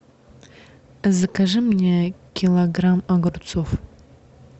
закажи мне килограмм огурцов